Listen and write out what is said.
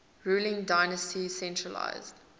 ruling dynasty centralised